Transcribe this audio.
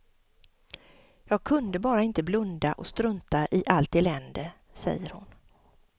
Jag kunde bara inte blunda och strunta i allt elände, säger hon.